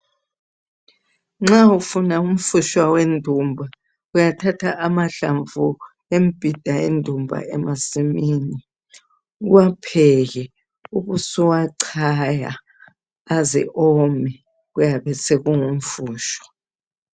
Nxa ufuna umfutshwa wendumba uyathatha amahlamvu embhida yendumba emasimini, uwapheke ubusuwachaya aze ome kuyabe sekungu mfutshwa.